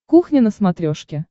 кухня на смотрешке